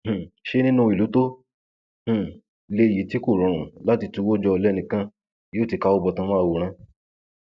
um ṣé nínú ìlú tó um le yìí tí kò rọrùn láti tuwó jọ lẹnì kan yóò ti káwọ bọtán máa wòran